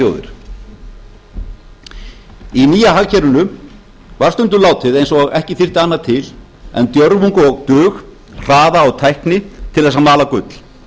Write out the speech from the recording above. þjóðir í nýja hagkerfinu var stundum látið eins og ekki þyrfti annað til en djörfung og dug hraða og tækni til að mala gull